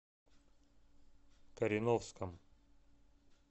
кореновском